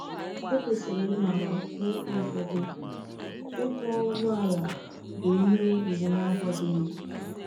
E kwesịrị ịmara na n’ebe ụfọdụ, ịkwọ ụgbọ ala bụ ihe iwu na-akwadoghị.